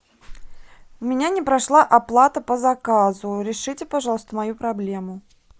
у меня не прошла оплата по заказу решите пожалуйста мою проблему